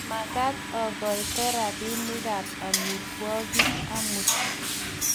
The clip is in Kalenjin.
mamekat akoito robinikab amitwigik amut